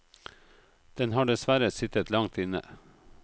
Den har dessverre sittet langt inne.